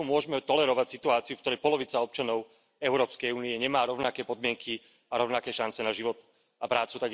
Ako môžeme tolerovať situáciu, v ktorej polovica občanov Európskej únie nemá rovnaké podmienky a rovnaké šance na život a prácu.